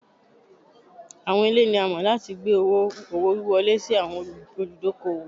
Awọn ile ni a mọ lati gbe owo-wiwọle si awọn oludokoowo